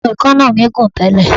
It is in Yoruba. Àwọn èékánná mi gùn tẹ́lẹ̀.